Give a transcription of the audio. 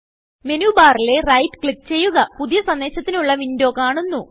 menu ബാറിലെWriteക്ലിക്ക് ചെയ്യുകപുതിയ സന്ദേശത്തിനുള്ള വിൻഡോ കാണുന്നു